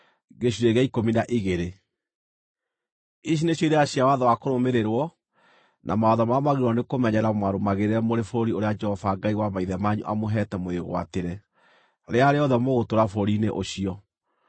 Ici nĩcio irĩra cia watho wa kũrũmĩrĩrwo, na mawatho marĩa mwagĩrĩirwo nĩ kũmenyerera mũmarũmagĩrĩre mũrĩ bũrũri ũrĩa Jehova Ngai wa maithe manyu amũheete mũwĩgwatĩre, rĩrĩa rĩothe mũgũtũũra bũrũri-inĩ ũcio.